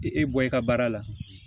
I bɔ i ka baara la